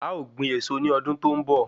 A ó gbin èso ní ọdún tó ń bọ̀